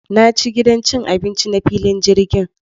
Na ci gidan cin abinci na filin jirgin.